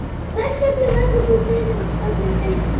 Þess vegna verður þú beðinn að stjórna deildinni